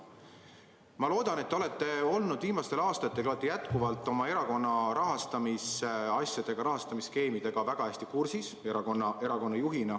Ma loodan, et te olete erakonna juhina olnud viimastel aastatel oma erakonna rahaasjadega, rahastamisskeemidega väga hästi kursis.